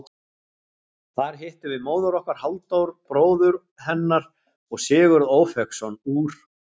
Þar hittum við móður okkar, Halldór bróður hennar og Sigurð Ófeigsson úr